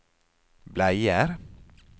bleier